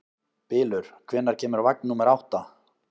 Bylur, hvenær kemur vagn númer átta?